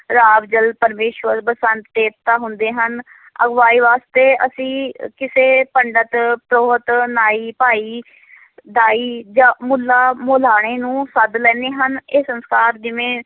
ਜਲ ਪਰਮੇਸਰ ਬਸੰਤ ਦੇਵਤਾ ਹੁੰਦੇ ਹਨ ਅਗਵਾਈ ਵਾਸਤੇ ਅਸੀਂ ਕਿਸੇ ਪੰਡਤ, ਪ੍ਰੋਹਤ, ਨਾਈ, ਭਾਈ ਦਾਈ ਜਾਂ ਮੁੱਲਾਂ ਮੁਲਾਣੇ ਨੂੰ ਸੱਦ ਲੈਂਦੇ ਹਾਂ, ਇਹ ਸੰਸਕਾਰ ਜਿਵੇਂ